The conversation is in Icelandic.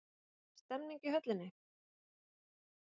Una er ekki stemning í höllinni?